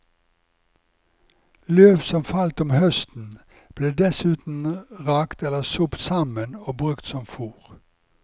Løv som falt om høsten, ble dessuten rakt eller sopt sammen og brukt som fór.